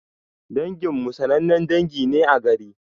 Dangin mu sanannen dangi ne a garin.